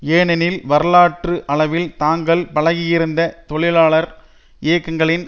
ஏனெனில் வரலாற்று அளவில் தாங்கள் பழகியிருந்த தொழிலாளர் இயக்கங்களின்